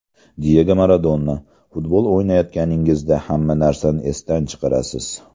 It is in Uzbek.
Diyego Maradona Futbol o‘ynayotganingizda hamma narsani esdan chiqarasiz.